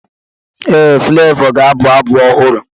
Ee, Fulevoo ga-abụ abụ ọhụrụ.